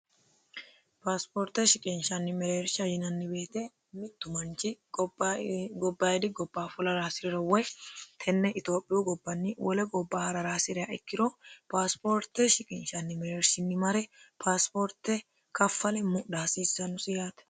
paasipoorte shiqinshanni meleersha yinanni weete mittu manchi gobbayidi gobba fulara hasi'riro woy tenne itiophiyu gobbanni wole gobba ha'rara hasi'reha ikkiro paasipoorte shiqinshanni meleershinni mare paasipoorte kaffale mudha hasiissannusi yaate